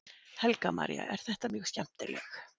Helga María: Er þetta mjög skemmtileg?